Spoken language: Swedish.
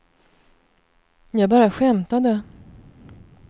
jag bara skämtade